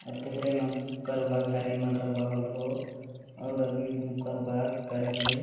अउर तोहरे मन हु करबा घेर होल हो और करेक ले।